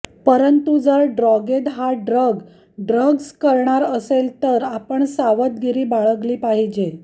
परंतु जर ड्रॉगेट हा ड्रग ड्रग्ज करणार असेल तर आपण सावधगिरी बाळगली पाहिजे